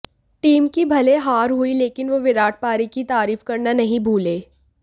team की भले हार हुई लेकिन वो विराट पारी की तारीफ़ करना नहीं भूले